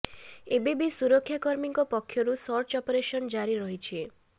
ଏବେ ବି ସୁରକ୍ଷାକର୍ମୀଙ୍କ ପକ୍ଷରୁ ସର୍ଚ୍ଚ ଅପରେସନ ଜାରି ରହିଛି